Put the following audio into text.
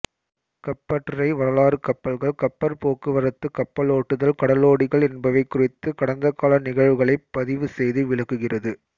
கப்பற்றுறை வரலாறு கப்பல்கள் கப்பற் போக்குவரத்து கப்பலோட்டுதல் கடலோடிகள் என்பவை குறித்த கடந்தகால நிகழ்வுகளைப் பதிவுசெய்து விளக்குகிறது